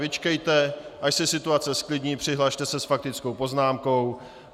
Vyčkejte, až se situace zklidní, přihlaste se s faktickou poznámkou.